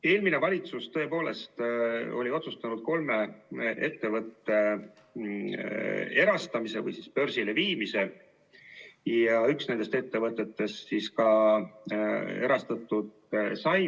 Eelmine valitsus tõepoolest oli otsustanud kolme ettevõtte erastamise või börsile viimise ja üks nendest ettevõtetest ka erastatud sai.